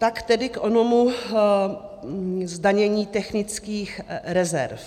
Tak tedy k onomu zdanění technických rezerv.